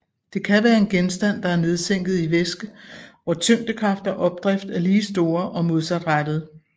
Det kan være en genstand der er nedsænket i væske hvor tyngdekraft og opdrift er lige store og modsat rettede